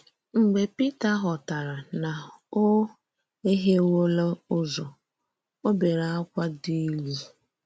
Mgbe Pítà ghọ̀tàrà na ò ehièwòrò ǔzọ̀, ò bèré ákwá dị̀ ìlú.